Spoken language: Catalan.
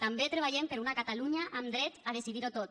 també treballem per una catalunya amb dret a decidir ho tot